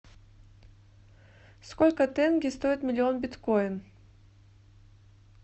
сколько тенге стоит миллион биткоин